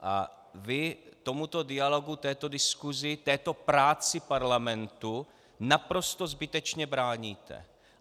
A vy tomuto dialogu, této diskusi, této práci Parlamentu naprosto zbytečně bráníte.